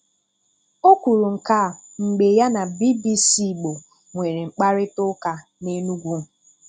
O um kwuru nke a mgbe ya um na BBC Igbo nwere mkparịtaụka n'Enugwu